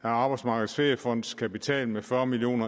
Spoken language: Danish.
arbejdsmarkedets feriefonds kapital med fyrre million